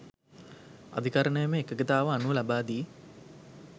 අධිකරණමය එකඟතාව අනුව ලබා දී